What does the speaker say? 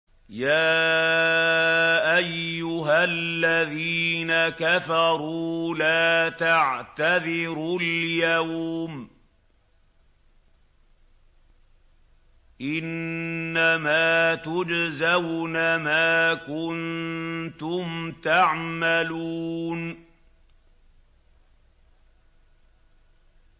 يَا أَيُّهَا الَّذِينَ كَفَرُوا لَا تَعْتَذِرُوا الْيَوْمَ ۖ إِنَّمَا تُجْزَوْنَ مَا كُنتُمْ تَعْمَلُونَ